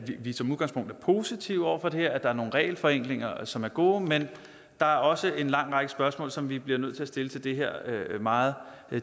vi som udgangspunkt er positive over for det her at der er nogle regelforenklinger som er gode men der er også en lang række spørgsmål som vi bliver nødt til at stille til det her meget